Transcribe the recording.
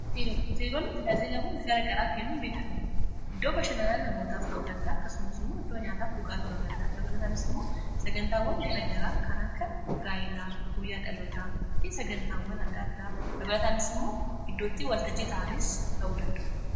Hoteeloonni tajaajilawwan garagaraa kennun beekamu iddoo bashananaa namootaaf ta'uu danda'a akkasumas immoo iddoo nyaataaf dhugaati ta'uu danda'a dabalataanis immoo sagantaawwan garagaraa kan akka gaayilaa guyyaa dhalotaa fi sagantaawwan adda addaa dabalataanis immoo iddootti waltajjii ta'anis ta'uu danda'u.